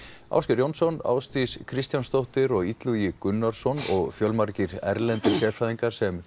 Ásgeir Jónsson Ásdís Kristjánsdóttir og Illugi Gunnarsson og fjölmargir erlendir sérfræðingar sem